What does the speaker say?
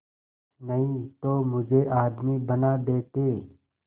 नहीं तो मुझे आदमी बना देते